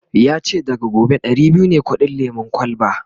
yace daga gobe Dari biyu ne kudin lemun kwalba